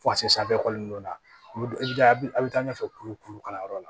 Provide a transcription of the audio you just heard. Fo ka se sanfɛ dɔ ma i bɛ taa a bɛ taa ɲɛfɛ kuru kuru kalanyɔrɔ la